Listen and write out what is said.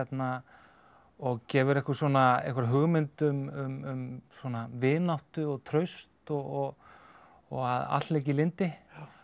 og gefur einhverja einhverja hugmynd um vináttu og traust og og að allt leiki í lyndi